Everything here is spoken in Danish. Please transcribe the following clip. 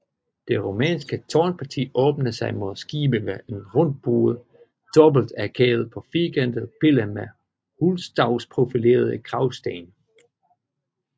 Det romanske tårnparti åbner sig mod skibet ved en rundbuet dobbeltarkade på firkantet pille med hulstavsprofilerede kragsten